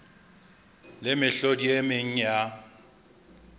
le mehlodi e meng ya